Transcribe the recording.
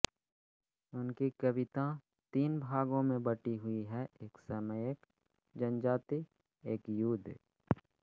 उनकी कविताँ तीन भागों में बटी हुइ है एक समयएक जनजाति एक युद्ध